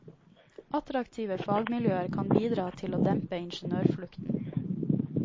Attraktive fagmiljøer kan bidra til å dempe ingeniørflukten.